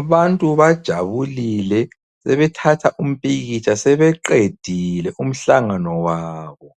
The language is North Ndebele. Abantu bajabulile sebethatha umpikitsha sebeqedile umhlangano wabo.